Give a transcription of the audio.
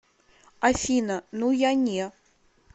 афина ну я не